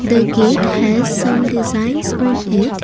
the gate has some designs on it.